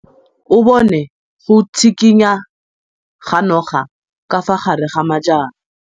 O bone go tshikinya ga noga ka fa gare ga majang.